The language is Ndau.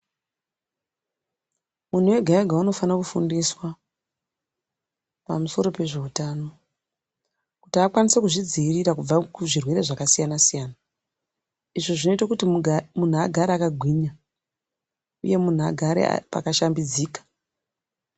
Muntu ega ega unofane kufundiswa pamusoro pe zveutano kuti akwanise kuzvidzivirira kubva kuzvirwere zvakasiyana siyana izvo zvinoite kutimuntu agare akagwinya uye muntu agare pakashambidzika.